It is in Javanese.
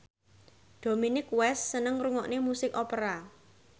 Dominic West seneng ngrungokne musik opera